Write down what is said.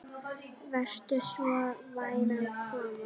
Vertu svo vænn að koma.